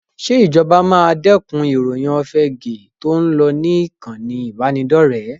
Ṣé ìjọba máa dẹ́kun ìròyìn òfegèé tó ń lọ ní ìkànì ìbánidọ́rẹ̀ẹ́?